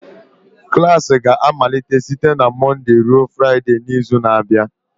Klas ga-amalite site na Mọnde ruo Fraịde n'izu na-abịa